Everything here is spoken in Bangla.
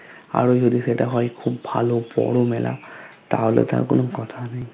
আরো যদি সেটা হয় খুব ভালো বড়ো মেলা তাহলে তো আর কোনো কথা নেই